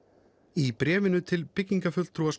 í bréfinu til byggingarfulltrúa